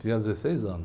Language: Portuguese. Tinha dezesseis anos.